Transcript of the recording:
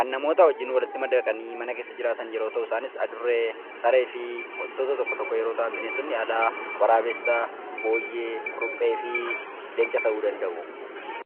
kan namootaa wajjiin walitti madaqanii mana keessa jiraatan yeroo ta'u isaanis adurree sareefi wantoota tokko tokko yeroo ta'an bineensotni alaa waraabessa booyyee, kurupheefi leenca ta'uu danda'u